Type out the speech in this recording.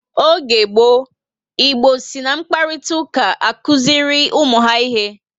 Oge gboo, Igbo si na mkparitauka akuziri ụmụ ha ihe